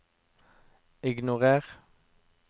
ignorer